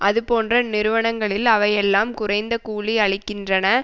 அதுபோன்ற நிறுவனங்களில் அவையெல்லாம் குறைந்த கூலி அளிக்கின்றன